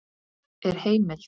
Er heimild?